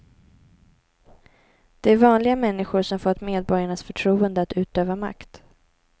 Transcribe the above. Det är vanliga människor som fått medborgarnas förtroende att utöva makt.